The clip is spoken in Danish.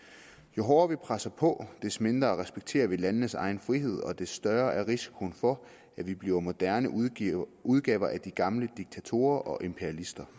jo hårdere vi presser på des mindre respekterer vi landenes egen frihed og des større er risikoen for at vi bliver moderne udgaver udgaver af de gamle diktatorer og imperialister